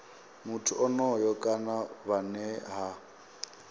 muthu onoyo kana vhane ha